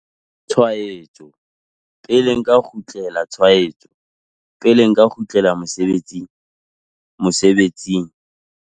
Tshwaetso, pele nka kgutlela tshwaetso, pele nka kgutlela mosebetsing? Mosebetsing?